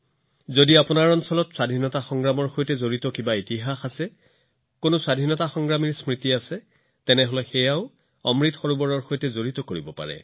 যদি আপোনালোকৰ এলেকাত স্বাধীনতা সংগ্ৰাম যুঁজাৰুৰ স্মৃতিৰ সৈতে কোনো ইতিহাস জড়িত আছে তেন্তে আপোনালোকে ইয়াক অমৃত সৰোবৰৰ সৈতেও সংযোগ কৰিব পাৰে